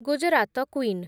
Gujarat queen